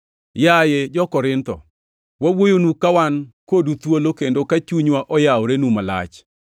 Yaye jo-Korintho, wawuoyonu ka wan kodu thuolo kendo ka chunywa oyaworenu malach.